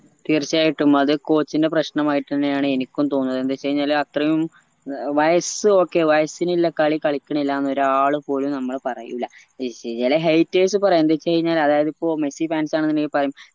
തീർച്ചയായിട്ടും അത് coach ന്റെ പ്രശ്നമായിട്ടാണ് എനിക്കും തോന്നണത് എന്തെച്ചഴിഞ്ഞാല് അത്രേം ഏർ വയസ്സ് ഓക്കേ വയസ്സിനുള്ള കളി കളിക്കണില്ലാന്നു ഒരാള് പോലും നമ്മള് പറയൂല ഏർ ചില haters പറയും എന്തേച്ചഴിഞ്ഞ അതായത് ഇപ്പൊ മെസ്സി fans ആണെന്ന് ഇണ്ടെങ്കിൽ പറയും